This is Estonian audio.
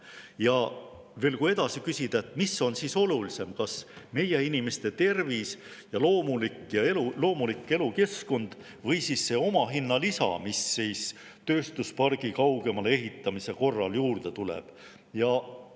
Ja veel, kui edasi küsida: mis on siis olulisem, kas meie inimeste tervis ja loomulik elukeskkond või see omahinna lisa, mis tööstuspargi kaugemale ehitamise korral juurde tuleb?